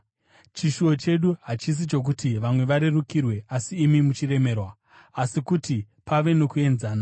Chishuvo chedu hachisi chokuti vamwe varerukirwe asi imi muchiremerwa, asi kuti pave nokuenzana.